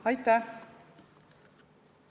Aitäh!